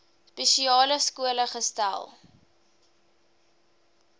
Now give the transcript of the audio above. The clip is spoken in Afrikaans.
spesiale skole gesetel